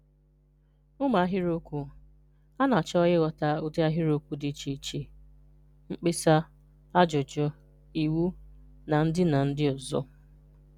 Ụmụ ahịrịokwu: A na-achọ ịghọta ụdi ahịrịokwu dị iche iche (mkpesa, ajụjụ, iwu, na ndi na ndi ọzọ).